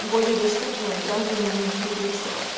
более доступная гражданам из других стран